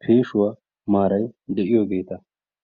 peeshuwaa maaray de'iyoogeeta.